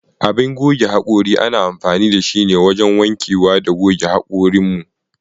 Abin gogan hakuri ana amfani da shi wajan wanke wa da goge hakurin mu.